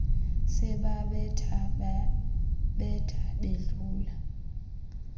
sebabetha babetha bedlula